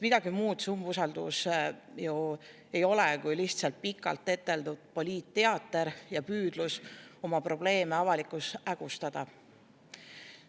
Midagi muud see umbusaldus ju ei ole kui lihtsalt pikalt eteldud poliitteater ja püüdlus oma probleeme avalikkuses hägustada.